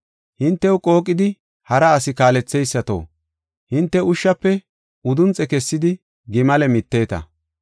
Hintew qooqidi hara asi kaaletheysato, hinte ushshafe udunxe kessidi gimale miteeta.